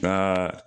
N'aa